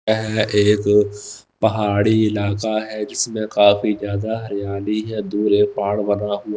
यह एक पहाड़ी इलाका है जिसमें काफी ज्यादा हैरानी है दूरे एक पहाड़ बना हुआ--